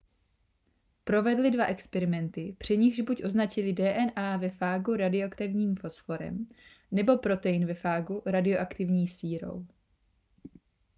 provedli dva experimenty při nichž buď označili dna ve fágu radioaktivním fosforem nebo protein ve fágu radioaktivní sírou